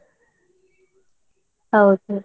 ಹೌದು.